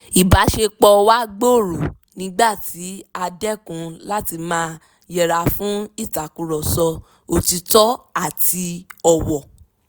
ìbáṣepọ wa gbòòrò nígbà tí a dẹ́kun láti máa yẹra fún ìtàkùrọ̀sọ òtítọ́ àti ọ̀wọ̀